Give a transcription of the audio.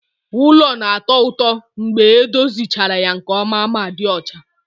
Ulo na-atọ ụtọ mgbe edozichara ya nke ọma ma dị ọcha